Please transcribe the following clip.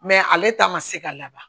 ale ta ma se ka laban